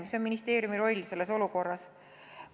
Milline on ministeeriumi roll selles olukorras?